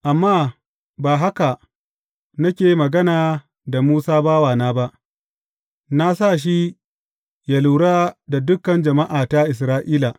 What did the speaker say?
Amma ba haka nake magana da Musa bawana ba; na sa shi yă lura da dukan jama’ata Isra’ila.